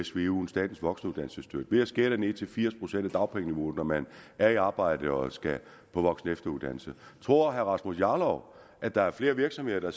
svuen statens voksenuddannelsesstøtte ved at skære den ned til firs procent af dagpengeniveauet når man er i arbejde og skal på voksen og efteruddannelse tror herre rasmus jarlov at der er flere virksomheder